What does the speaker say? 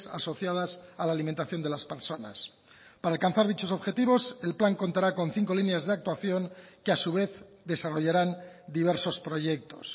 asociadas a la alimentación de las personas para alcanzar dichos objetivos el plan contará con cinco líneas de actuación que a su vez desarrollarán diversos proyectos